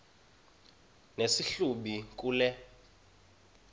nesi hlubi kule